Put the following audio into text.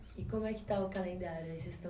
E como é que está o calendário aí? Vocês estão